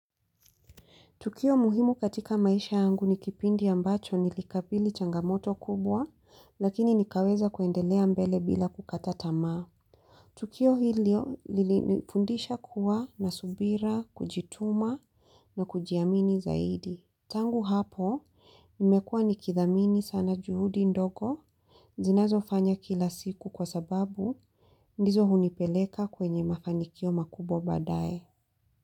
Tukio muhimu katika maisha yangu ni kipindi ambacho nilikabili changamoto kubwa, lakini nikaweza kuendelea mbele bila kukata tamaa. Tukio hilo lilinifundisha kuwa na subira, kujituma na kujiamini zaidi. Tangu hapo, nimekua nikithamini sana juhudi ndogo. Ninazofanya kila siku kwa sababu, ndizo hunipeleka kwenye mafanikio makubwa badaye.